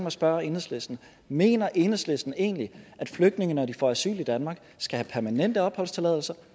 at spørge enhedslisten mener enhedslisten egentlig at flygtninge når de får asyl i danmark skal have permanent opholdstilladelse